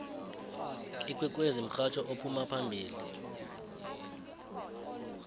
ikwekwezi mhatjho ophuma phambili